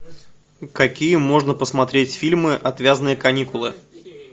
какие можно посмотреть фильмы отвязные каникулы